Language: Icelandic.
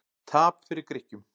Tap fyrir Grikkjum